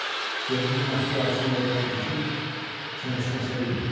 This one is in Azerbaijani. Görünür məftil ağzına elə bərkidib çənəsini aça bilmir.